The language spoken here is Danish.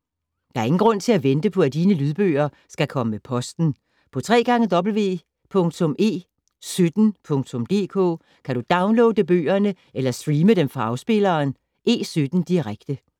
Der er ingen grund til at vente på, at dine lydbøger skal komme med posten. På www.e17.dk kan du downloade bøgerne eller streame dem fra afspilleren E17 Direkte.